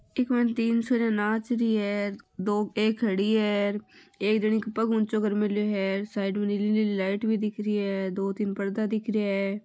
इक मायन तीन छोरिया नाच रही है दो एक खड़ी है र एक जनी के पग ऊंचो कर मेल्यो है साइड में नीली नीली लाईट भी दिख रही है दो तीन पर्दा दिख रहिया है।